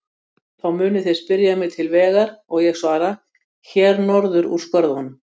Þá munu þeir spyrja mig til vegar og ég svara: Hér norður úr skörðunum.